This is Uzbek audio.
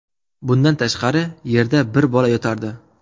Bundan tashqari yerda bir bola yotardi.